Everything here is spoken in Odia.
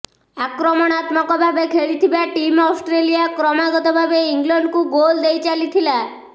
ଆକ୍ରମଣାତ୍ମକ ଭାବେ ଖେଳିଥିବା ଟିମ୍ ଅଷ୍ଟ୍ରେଲିଆ କ୍ରମାଗତ ଭାବେ ଇଂଲଣ୍ଡକୁ ଗୋଲ ଦେଇ ଚାଲିଥିଲା